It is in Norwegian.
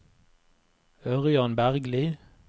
Ørjan Bergli